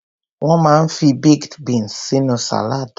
Wón máa ń fi baked beans sínú salad.